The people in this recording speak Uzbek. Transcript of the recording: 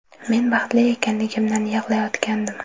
Men baxtli ekanligimdan yig‘layotgandim.